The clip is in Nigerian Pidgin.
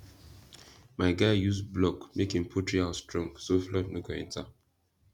my guy use block make him poultry house strong so flood no go enter